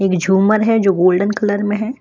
एक झूमर है जो गोल्डन कलर में है।